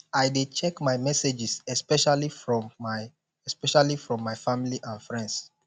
i dey check my messages especially from my especially from my family and friends